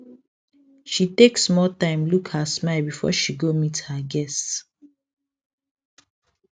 she take small time look her smile before she go meet her guests